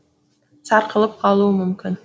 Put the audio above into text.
сарқылып қалуы мүмкін